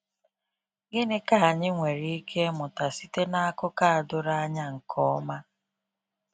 Gịnị ka anyị nwere ike ịmụta site na akụkọ a doro anya nke ọma?